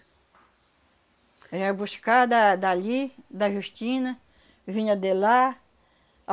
A gente ia buscar da dali, da Justina, vinha de lá.